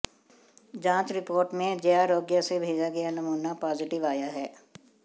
जांच रिपोर्ट में जयारोग्य से भेजा गया नमूना पॉजिटिव आया है